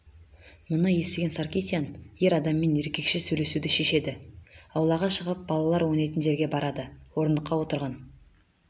мұны естіген саркисян ер адаммен еркекше сөйлесуді шешеді аулаға шығып балалар ойнайтын жерге барады орындықта отырған